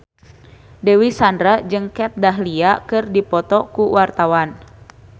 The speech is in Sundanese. Dewi Sandra jeung Kat Dahlia keur dipoto ku wartawan